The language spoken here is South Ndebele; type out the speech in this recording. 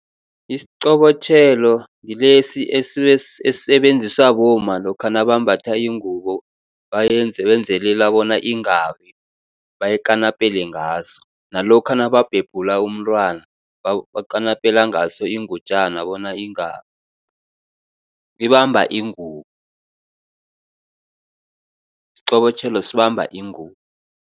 Isiqobotjhelo ngilesi esisebenziswa bomma lokha nabambatha ingubo, benzelela bona ingawi, bayikanapele ngaso. Nalokha nababhebhula umntwana, bakanapela ngaso ingutjana bona ingawi, ibamba ingubo, isiqobotjhelo sibamba ingubo.